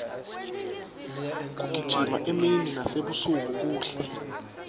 kugijima emini nasebusuku kuhle